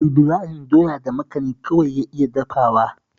Ibrahim doya da makani kawai ya iya dafawa